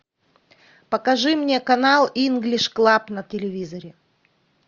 покажи мне канал инглиш клаб на телевизоре